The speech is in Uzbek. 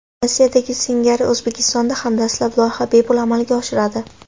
Rossiyadagi singari O‘zbekistonda ham dastlab loyiha bepul amalga oshiradi.